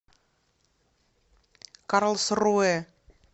карлсруэ